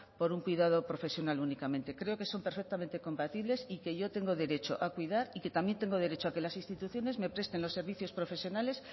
por un cuidado profesional únicamente creo que son perfectamente compatibles y que yo tengo derecho a cuidar y que también tengo derecho a que las instituciones me presten los servicios profesionales